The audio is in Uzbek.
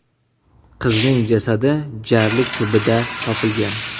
Qizning jasadi jarlikning tubida topilgan.